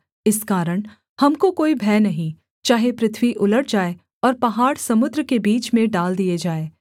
इस कारण हमको कोई भय नहीं चाहे पृथ्वी उलट जाए और पहाड़ समुद्र के बीच में डाल दिए जाएँ